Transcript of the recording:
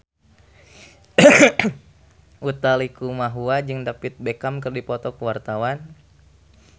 Utha Likumahua jeung David Beckham keur dipoto ku wartawan